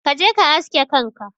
Kaje ka aske kanka.